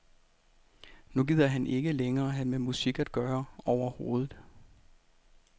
Nu gider han ikke længere have med musik at gøre overhovedet.